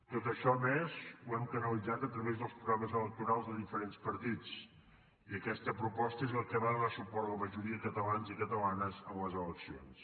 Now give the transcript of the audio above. tot això a més ho hem canalitzat a través dels programes electorals de diferents partits i aquesta proposta és a la qual va donar suport la majoria de catalans i catalanes en les eleccions